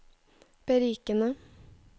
berikende